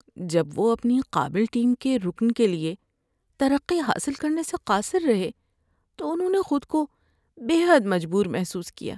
‏جب وہ اپنی قابل ٹیم کے رکن کے لیے ترقی حاصل کرنے سے قاصر رہے تو انہوں نے خود کو بے حد مجبور محسوس کیا۔